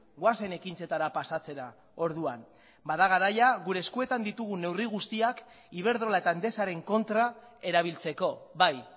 goazen ekintzetara pasatzera orduan bada garaia gure eskuetan ditugun neurri guztiak iberdrola eta endesaren kontra erabiltzeko bai